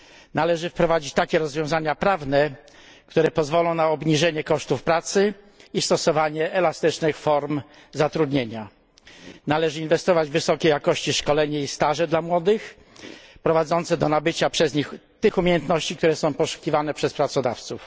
Należy wprowadzić takie rozwiązania prawne, które pozwolą na obniżenie kosztów pracy i stosowanie elastycznych form zatrudnienia. Należy inwestować w wysokiej jakości szkolenia i staże dla młodych, prowadzące do nabycia przez nich tych umiejętności, które są poszukiwane przez pracodawców.